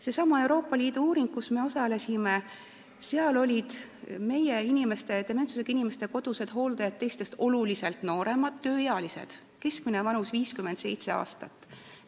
Sellesama Euroopa Liidu uuringu järgi, kus me osalesime, olid meie dementsusega inimeste kodused hooldajad teistest oluliselt nooremad, tööealised, keskmine vanus oli 57 aastat.